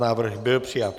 Návrh byl přijat.